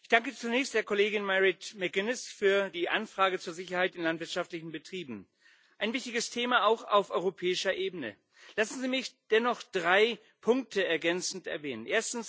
Ich danke zunächst der Kollegin Mairead McGuinness für die Anfrage zur Sicherheit in landwirtschaftlichen Betrieben ein wichtiges Thema auch auf europäischer Ebene. Lassen Sie mich dennoch drei Punkte ergänzend erwähnen.